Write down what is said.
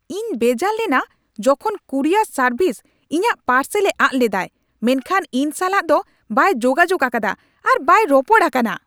ᱤᱧ ᱵᱮᱡᱟᱨ ᱞᱮᱱᱟ ᱡᱚᱠᱷᱚᱱ ᱠᱩᱨᱤᱭᱟᱨ ᱥᱟᱨᱵᱷᱤᱥ ᱤᱧᱟᱹᱜ ᱯᱟᱨᱥᱮᱞᱮ ᱟᱫ ᱞᱮᱫᱟᱭ ᱢᱮᱱᱠᱷᱟᱱ ᱤᱧ ᱥᱟᱞᱟᱜ ᱫᱚ ᱵᱟᱭ ᱡᱳᱜᱟᱡᱳᱜ ᱟᱠᱟᱫᱟ ᱟᱨ ᱵᱟᱭ ᱨᱚᱯᱚᱲ ᱟᱠᱟᱱᱟ ᱾